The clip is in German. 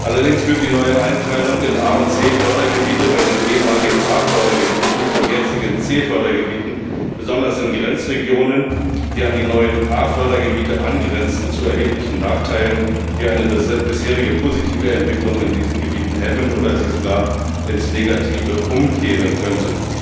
Allerdings führt die neue Einteilung in A und C Fördergebiete bei den ehemaligen A Fördergebieten und jetzigen C Fördergebieten, besonders in Grenzregionen, die an die neuen A Fördergebiete angrenzen, zu erheblichen Nachteilen, die eine bisherige positive Entwicklung in diesen Gebieten hemmen oder sie sogar ins Negative umkehren könnten.